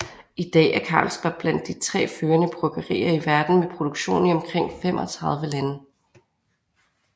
I dag er Carlsberg blandt de tre førende bryggerier i verden med produktion i omkring 35 lande